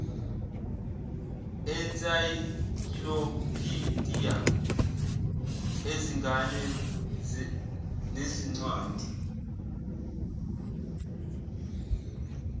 ensaykilophidiya ezingane nezincwadi